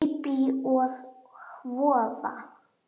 Bíbí og voða.